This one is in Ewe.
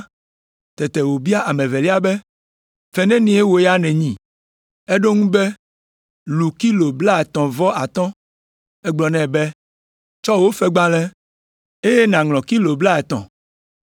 “Tete wòbia ame evelia be, ‘Fe nenie wò ya nènyi?’ “Eɖo eŋu be, ‘Lu kilo blaetɔ̃ vɔ atɔ̃.’ “Egblɔ nɛ be, ‘Tsɔ wò fegbalẽ, eye nàŋlɔ kilo blaetɔ̃.’